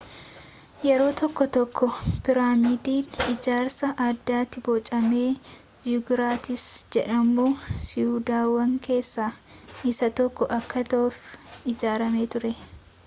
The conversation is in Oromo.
yeroo tokko tokko piraamiidiin ijaarsa addaatti bocame ziguraatsi jedhamu siidaawwan keessa isa tokko akka ta'uuf ijaarame ture